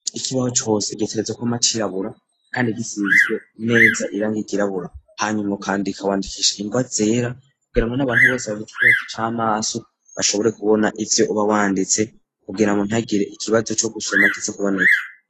Ikibaho cose gitegerezwa kwama cirabura, kandi gisizwe neza irangi ryirabura, hanyuma ukwandika wandikisha ingwa zera kugirango n'abantu bose bafite ikibazo c'amaso bashobore kubona ivyo uba wanditse kugirango ntagire ikibazo co gusoma kiza kuboneka.